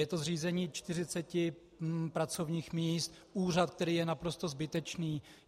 Je to zřízení 40 pracovních míst, úřad, který je naprosto zbytečný.